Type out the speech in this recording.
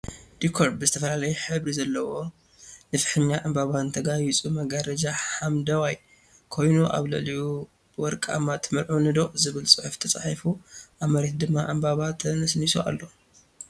ዲኮር ብ ዝተፈላለየ ሕብሪ ዘለዎ ነፋሒ ዕምበባን ተጋይፁ መጋረጃ ሓመደዋይ ኮይኑ ኣብ ልዕሊኡ ብወረቃማ ትምርዓውኒ ዶ ዝብል ፅሑፍ ተፃሒፉ ኣብ መሬት ድማ ዕምበባ ተነስኒሱ ኣሎ።